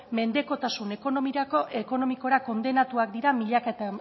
mendekotasun ekonomikora kondenatuak dira milaka